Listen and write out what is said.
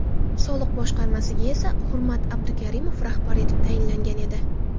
Soliq boshqarmasiga esa Hurmat Abdukarimov rahbar etib tayinlangan edi.